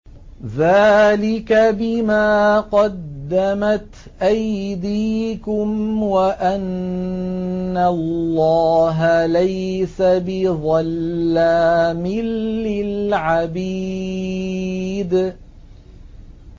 ذَٰلِكَ بِمَا قَدَّمَتْ أَيْدِيكُمْ وَأَنَّ اللَّهَ لَيْسَ بِظَلَّامٍ لِّلْعَبِيدِ